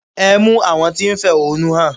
Ẹ mú àwọn tí ń fẹ̀họ́núhàn!